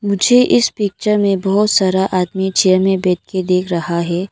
मुझे इस पिक्चर में बहुत सारा आदमी चेयर में बैठ के दिख रहा है।